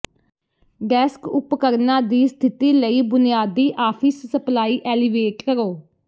desk ਉਪਕਰਣਾਂ ਦੀ ਸਥਿਤੀ ਲਈ ਬੁਨਿਆਦੀ ਆਫਿਸ ਸਪਲਾਈ ਐਲੀਵੇਟ ਕਰੋ